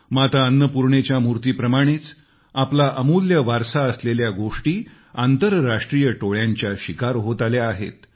माता अन्नपूर्णेच्या मूर्तीप्रमाणेच आपला अमूल्य वारसा असलेल्या गोष्टी आंतरराष्ट्रीय टोळ्यांच्या शिकार होत आल्या आहेत